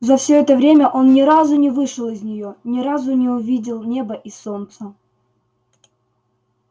за всё это время он ни разу не вышел из неё ни разу не увидел неба и солнца